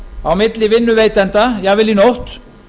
á milli vinnuveitenda jafnvel í nótt